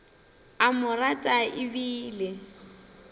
a mo rata e bile